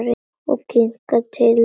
Og kinnar þínar titra.